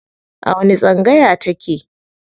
A wani tsangaya ta ke?